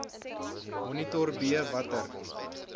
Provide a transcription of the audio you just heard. monitor b watter